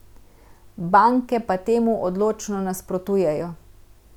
Banke pa temu odločno nasprotujejo.